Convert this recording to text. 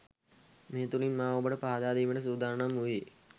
මේ තුළින් මා ඔබට පහදාදීමට සූදානම් වූයේ